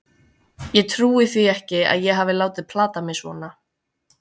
Ég trúi því ekki að ég hafi látið plata mig svona.